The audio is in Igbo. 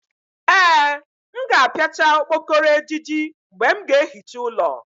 Ee, m ga-apiachá okpokoro ejiji mgbe m ga-ehicha ụlọ